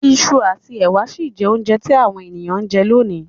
Isu àtí èwà si n je ounje ti àwon èyàn n je lonìí